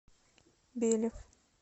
белев